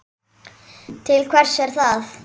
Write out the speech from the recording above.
Til hvers er það?